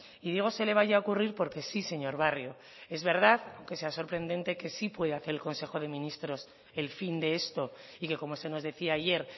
y digo se le vaya a ocurrir porque sí señor barrio es verdad aunque sea sorprendente que sí pueda hacer el consejo de ministros el fin de esto y que como se nos decía ayer